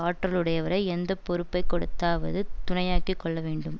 ஆற்றலுடையவரை எந்த பொறுப்பை கொடுத்தாவது துணையாக்கிக் கொள்ளவேண்டும்